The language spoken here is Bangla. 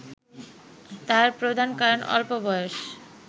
তার প্রধান কারণ অল্প বয়স